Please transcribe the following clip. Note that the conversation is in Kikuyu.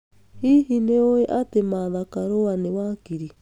Hihi nĩ ũĩ atĩ Martha Karua nĩ wakiri?